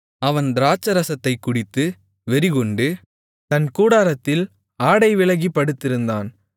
அவன் திராட்சைரசத்தைக் குடித்து வெறிகொண்டு தன் கூடாரத்தில் ஆடை விலகிப் படுத்திருந்தான்